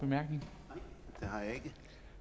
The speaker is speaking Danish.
være